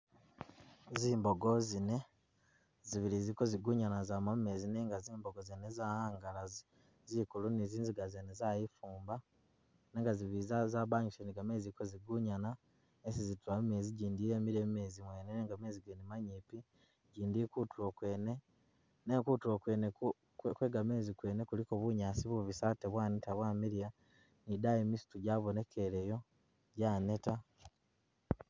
Zimbogo zine, zibili ziliko zigunyana zama mumezi nenga zimbogo zene zawanga zikulu ni zinziga zene zayifumba nenga zibili zabanyusile ni gamezi ziliko zigunyana yesi zitula mumezi jindi yemile mumezi mwene nenga mezi gene manyipi ,jindi ili kutulo kwene nenga kutulo kwene kwegamezi kwene kuliko bunyaasi bubisi ate bwaneta bwamiliya ni dayi misitu jabonekeleyo janeta.